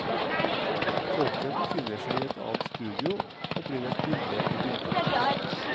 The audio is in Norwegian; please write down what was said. Tolken befinner seg i et annet studio og blir et bilde i bildet.